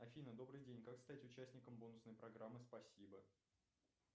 афина добрый день как стать участником бонусной программы спасибо